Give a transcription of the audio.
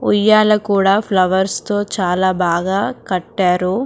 ఉయ్యాలా కూడా ఫ్లవర్స్ తో చాలా బాగా కట్టారు --